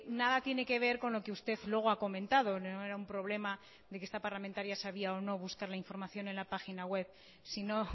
nada tiene que ver con lo que usted luego ha comentado no era un problema o no de que esta parlamentaria sabía o no buscar la información en la página web sino